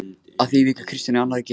Að því víkur Kristján í annarri grein